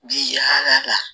Bi ala